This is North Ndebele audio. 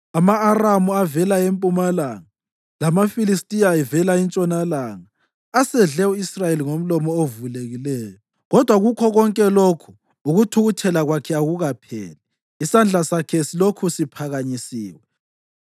Ama-Aramu avela empumalanga lamaFilistiya avela entshonalanga asedle u-Israyeli ngomlomo ovulekileyo. Kodwa kukho konke lokhu, ukuthukuthela kwakhe akupheli, isandla sakhe silokhu siphakanyisiwe.